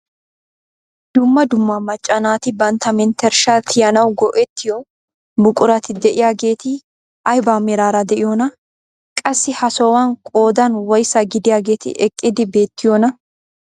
Dumma dumma macca naati bantta menttershshaa tiyanawu go"ettiyoo buqurati de'iyaageti ayba meraara de'iyoonaa? qassi ha sohuwaan qoodan woysaa gidiyaageti eqqidi beettiyoonaa?